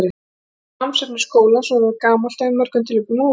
Mikið af námsefni skólans var orðið gamalt og í mörgum tilvikum úrelt.